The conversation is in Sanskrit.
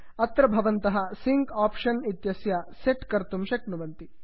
अत्र भवन्तः सिङ्क् आप्षन् इत्यस्य सेट् कर्तुं शक्नुवन्ति